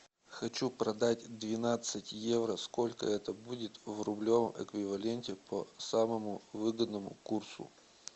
хочу продать двенадцать евро сколько это будет в рублевом эквиваленте по самому выгодному курсу